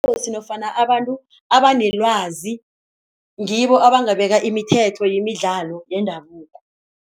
nofana abantu abanelwazi ngibo abangabeka imithetho yemidlalo yendabuko.